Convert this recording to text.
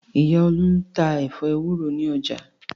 Ìyá Olú tá ẹ̀fọ́ ewúro ní ọjà.